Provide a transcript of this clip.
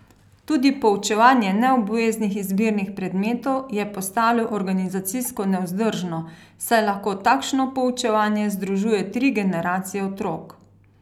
Tudi poučevanje neobveznih izbirnih predmetov je postalo organizacijsko nevzdržno, saj lahko takšno poučevanje združuje tri generacije otrok.